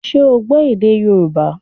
Ṣé o gbọ́ èdè Yorùbá